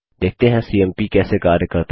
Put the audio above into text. देखते हैं सीएमपी कैसे कार्य करता है